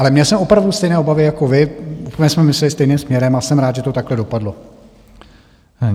Ale měl jsem opravdu stejné obavy jako vy, úplně jsme mysleli stejným směrem, a jsem rád, že to takto dopadlo.